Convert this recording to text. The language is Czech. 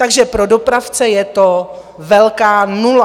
Takže pro dopravce je to velká nula.